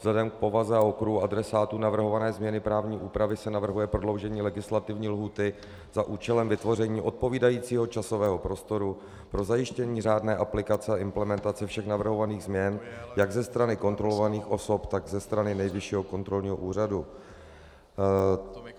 Vzhledem k povaze a okruhu adresátů navrhované změny právní úpravy se navrhuje prodloužení legislativní lhůty za účelem vytvoření odpovídajícího časového prostoru pro zajištění řádné aplikace a implementace všech navrhovaných změn jak ze strany kontrolovaných osob, tak ze strany Nejvyššího kontrolního úřadu.